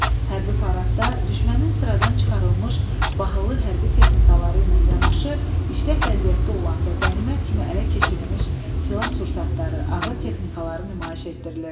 Hərbi paradda düşmənin sıradan çıxarılmış bahalı hərbi texnikaları ilə yanaşı işlək vəziyyətdə olan və qənimət kimi ələ keçirilmiş silah-sursatları, ağır texnikaları nümayiş etdirilirdi.